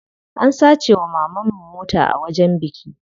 An sace wa mamanmu mota a wajen biki.